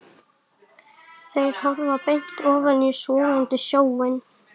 Þeir horfa beint ofan í sogandi sjóinn.